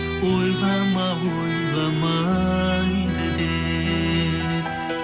ойлама ойламайды деп